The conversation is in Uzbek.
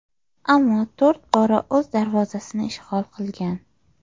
Ammo to‘rt bora o‘z darvozasini ishg‘ol qilgan.